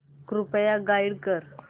कृपया गाईड कर